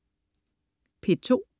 P2: